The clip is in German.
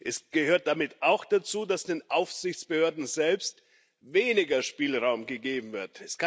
Es gehört damit auch dazu, dass den Aufsichtsbehörden selbst weniger Spielraum gegeben wird.